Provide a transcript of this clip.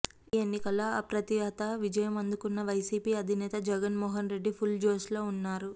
AP ఎన్నికల్లో అప్రతిహత విజయం అందుకున్న వైసీపీ అధినేత జగన్మోహన్ రెడ్డి ఫుల్ జోష్లో ఉన్నారు